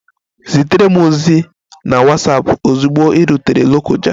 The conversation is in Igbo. Zitere m ozi na Watsapụ ozugbo ị rutere Lokoja!